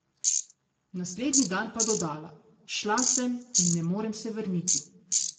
Naslednji dan pa dodala: "Šla sem in ne morem se vrniti.